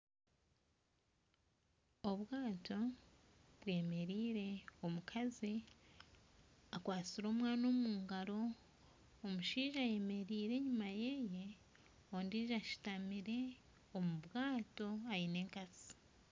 Obwato bwemereire, omukazi akwatsire omwana omu ngaro. Omushaija ayemereire enyima ye. Ondijo ashutamire omu bwato aine enkasi.